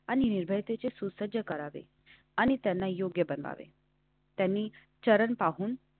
पासून आला आहे ज्याचा अर्थ चांगल्या कारणासाठी लढणे आघाडीवर लढनीं. तलवारीच्या धारणेवर चालणे असा होत. महालय शब्दाचा अर्थ विजयानंतर स्थानिक.